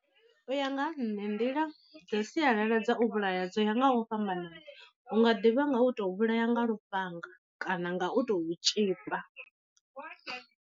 U ya nga ha nṋe nḓila dza sialala dza u vhulaya dzo ya nga u fhambanana, hu nga ḓi vha nga u to vhulaya nga lufhanga kana nga u tou tzhipa.